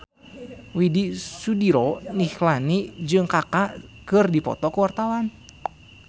Widy Soediro Nichlany jeung Kaka keur dipoto ku wartawan